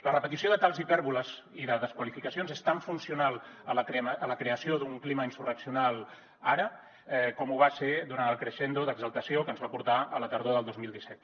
la repetició de tals hipèrboles i de desqualificacions és tan funcional a la creació d’un clima insurreccional ara com ho va ser durant el crescendo d’exaltació que ens va portar a la tardor del dos mil disset